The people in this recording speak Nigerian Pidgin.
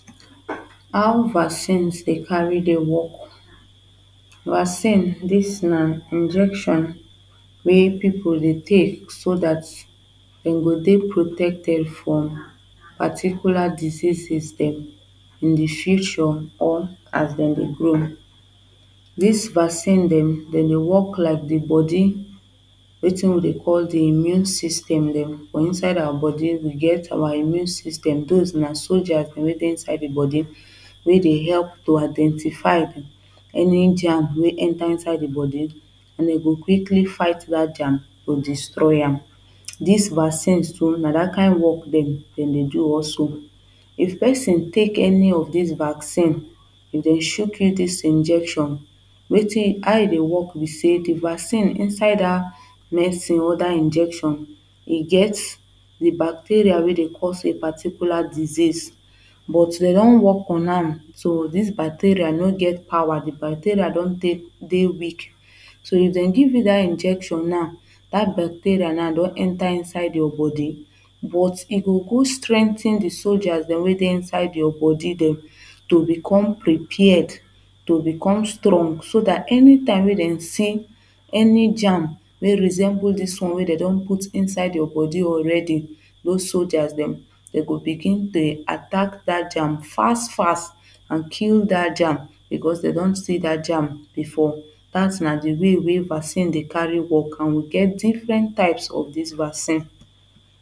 How vaccines dey carry dey work. Vaccine this na injection wey people dey take so that dem go dey protected from particular diseases dem dem in the future or as them dey grow. This vaccine dem dem dey work like the body wetin we dey call the immune system dem for inside our body we get our immune system those na soldiers dem wey dey inside the body wey dey help to identify any germ wey enter inside the body and e go quickly fight that germ or destroy am This vaccines so an that kind work dem dey do also. If person take any of this vaccine if dem chuk you this injection how you e dey work be say the vaccine inside that medicine or that injection e get the bacteria wey dey cause e particular disease but dey don work on am so this bacteria no get power the bacteria don dey weak So if dem give you that injection now that bacteria now don enter inside your body but e go go strengthen the soldiers dem wey dey inside your body dem to become prepared to become strong so that any time we dem see any germ wey resemble this one wey dey don put inside your body already those soldiers dem dem go begin dey attack that germ fast fast and kill that germ because dey don see that germ before. That na the way wey vaccine dey take dey work and we get different types of this vaccine